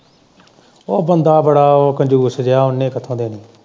ਉਹ ਬੰਦਾ ਉਹ ਕੰਜੂਸ ਜਿਹਾ ਉਹਨੇ ਕਿੱਥੋਂ ਦੇਣੀ।